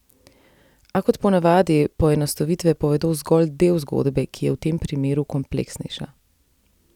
A kot po navadi poenostavitve povedo zgolj del zgodbe, ki je v tem primeru kompleksnejša.